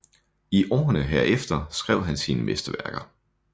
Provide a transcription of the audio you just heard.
I årene herefter skrev han sine mesterværker